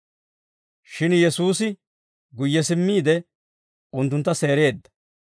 Shin Yesuusi guyye simmiide, unttuntta seereedda.